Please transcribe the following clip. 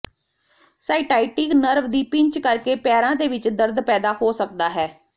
sciatic nerve ਦੀ pinch ਕਰਕੇ ਪੈਰਾਂ ਦੇ ਵਿੱਚ ਦਰਦ ਪੈਦਾ ਹੋ ਸਕਦਾ ਹੈ